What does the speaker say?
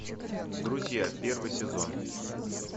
друзья первый сезон